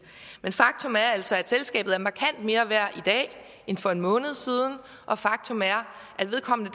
men faktum er altså at selskabet er markant mere værd i dag end for en måned siden og faktum er at vedkommende